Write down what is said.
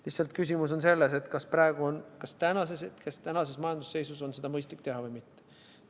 Lihtsalt küsimus on selles, kas praegu, tänases majandusseisus on seda mõistlik teha või mitte.